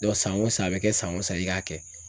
san o san a bɛ kɛ san o san i k'a kɛ.